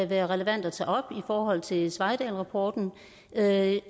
være relevant at tage op i forhold til sveidahlrapporten og jeg